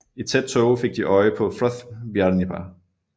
I tæt tåge fik de øje på Froðbiarnípa